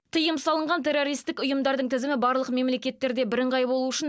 тыйым салынған террористік ұйымдардың тізімі барлық мемлекеттерде бірыңғай болуы үшін